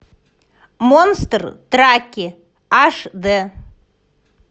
монстр траки аш д